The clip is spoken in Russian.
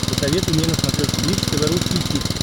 посоветуй мне на смотрешке бридж тв русский хит